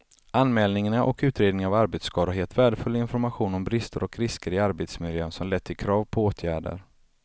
Anmälningarna och utredningarna av arbetsskador har gett värdefull information om brister och risker i arbetsmiljön som lett till krav på åtgärder.